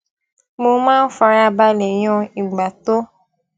mo máa ń fara balè yan ìgbà tó